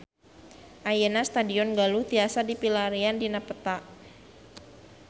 Ayeuna Stadion Galuh tiasa dipilarian dina peta